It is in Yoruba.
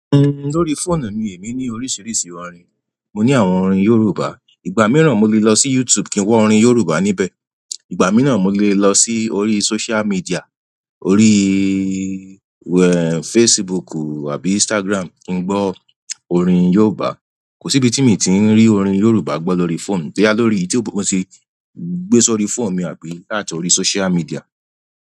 Uhm, lórí phone mi èmi ní oríṣiríṣi orin. Mo ní àwọn orin Yorùbá. Ìgbà mìíràn mo lè lọ sí YouTube kí n wa orin Yorùbá níbẹ̀. Ìgbà mìíràn mo lè lọ sí orí social media, oríí, ehen, Facebook àbí Instagram kí n gbọ́ orin Yorùbá. Kò sí ibi tí mi ti ń rí orin Yorùbá gbọ́ lọrí phone mi bọya lórí ètò ìgbóhùn sí, gbé sórí phone mi àbí láti orí social media.